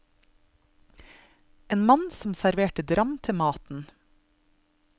En mann som serverer dram til maten.